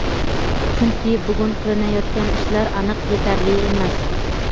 chunki "bugun qilinayotgan ishlar aniq yetarli emas".